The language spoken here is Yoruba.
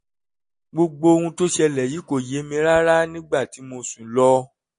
gbogbo ohun tó ṣẹlẹ̀ yìí kò yé mi rárá nígbà tí mo sùn lọ